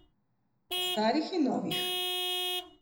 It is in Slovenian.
O starih in novih.